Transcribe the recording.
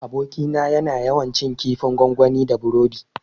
Abokina yana yawan cin kifin gwangwani da burodi